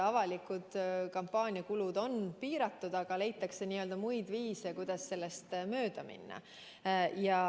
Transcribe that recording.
Avalikud kampaaniakulud on piiratud, aga leitakse viise, kuidas sellest mööda minna.